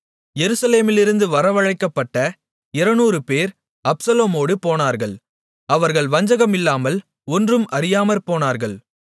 எருசலேமிலிருந்து வரவழைக்கப்பட்ட 200 பேர் அப்சலோமோடு போனார்கள் அவர்கள் வஞ்சகம் இல்லாமல் ஒன்றும் அறியாமற்போனார்கள்